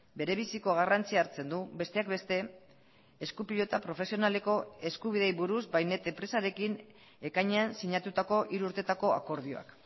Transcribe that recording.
bere biziko garrantzia hartzen du besteak beste esku pilota profesionaleko eskubideei buruz bainet enpresarekin ekainean sinatutako hiru urteetako akordioak